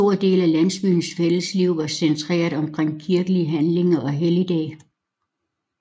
En stor del af landsbyens fælles liv var centreret omkring kirkelige handlinger og helligdage